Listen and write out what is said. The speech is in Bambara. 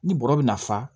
Ni bɔrɔ bɛ na fa